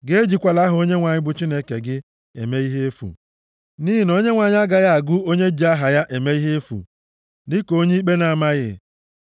Gị ejikwala aha Onyenwe anyị bụ Chineke gị eme ihe efu, nʼihi na Onyenwe anyị agaghị agụ onye ji aha ya eme ihe efu dịka onye ikpe na-amaghị.